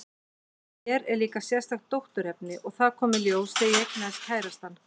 Í mér var líka sérstakt dótturefni, og það kom í ljós þegar ég eignaðist kærastann.